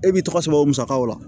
E b'i tɔgɔ sɛbɛn o musakaw la